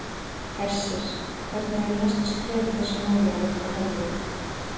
Hersir: Hvernig eru næstu skref í þessu máli af ykkar hálfu?